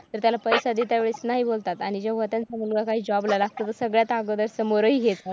तर त्याला पैसा देता वेळेस नाही बोलतात आणि तेव्हा त्यांचा माझा काही job ला लागतो तो सगळ्यात अगोदर समोरही घेतात.